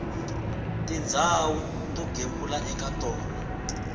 tindhawu to gembula eka tona